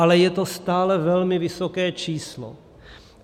Ale je to stále velmi vysoké číslo.